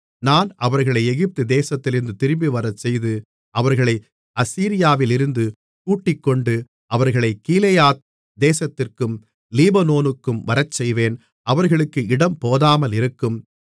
நான் அவர்களை எகிப்து தேசத்திலிருந்து திரும்பிவரச்செய்து அவர்களை அசீரியாவிலிருந்து கூட்டிக்கொண்டு அவர்களைக் கீலேயாத் தேசத்திற்கும் லீபனோனுக்கும் வரச்செய்வேன் அவர்களுக்கு இடம் போதாமலிருக்கும்